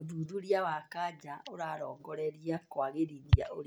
ũthuthuria wa kanja ũrarongoreria kwagĩrithia ũrigitani